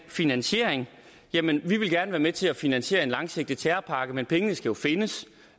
finansiering jamen vi ville gerne være med til at finansiere en langsigtet terrorpakke men pengene skal jo findes